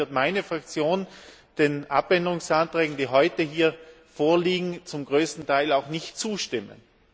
Deshalb wird meine Fraktion den Änderungsanträgen, die heute hier vorliegen, zum größten Teil auch nicht zustimmen.